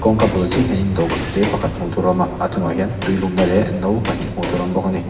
kawngka bul chiahah hian dawhkân tê pakhat hmuh tûr a awm a a chungah hian tui lumna leh no pahnih hmuh tûr awm bawk a ni.